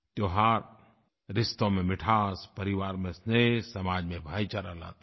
त्योहार रिश्तों में मिठास परिवार में स्नेह समाज में भाईचारा लाते हैं